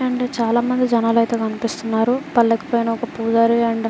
And చాలామంది జనాలు అయితే కనిపిస్తున్నారు.